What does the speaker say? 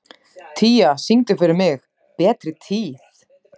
Tía, syngdu fyrir mig „Betri tíð“.